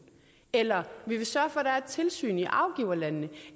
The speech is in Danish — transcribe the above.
eller at vi vil sørge for at der er et tilsyn i afgiverlandene